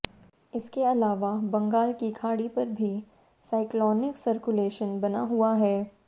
इसके अलावा बंगाल की खाड़ी पर भी साइक्लोनिक सर्कुलेशन बना हुआ है